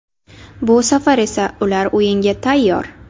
Bu safar esa ular o‘yinga tayyor.